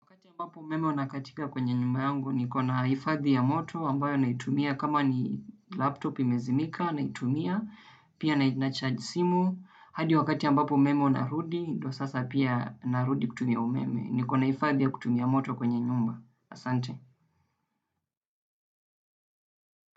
Wakati ambapo umeme unakatika kwenye nyumba yangu, nikona hifadhi ya moto ambayo na itumia kama ni laptop imezimika na itumia, pia nacharge simu, hadi wakati ambapo umeme unarudi, ndo sasa pia narudi kutumia umeme. Nikona hifadhi ya kutumia moto kwenye nyumba. Asante.